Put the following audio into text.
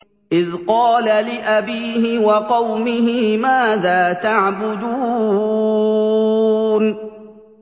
إِذْ قَالَ لِأَبِيهِ وَقَوْمِهِ مَاذَا تَعْبُدُونَ